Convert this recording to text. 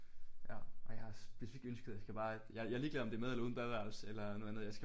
Ja ej jeg har specifikt ønsket at jeg skal bare jeg er lige glad om det er med eller uden badeværelse eller noget andet jeg skal bare